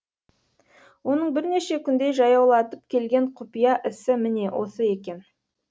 оның бірнеше күндей жаяулатып келген құпия ісі міне осы екен